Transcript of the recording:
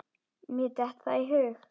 Mér datt það í hug!